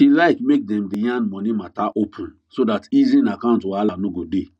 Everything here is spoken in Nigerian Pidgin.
she like make dem day yan money matter open so that hidden account wahala no go dey